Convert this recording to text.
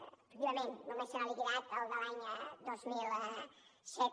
efectivament només se n’ha liquidat el de l’any dos mil set